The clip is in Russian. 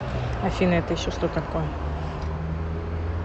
афина это еще что такое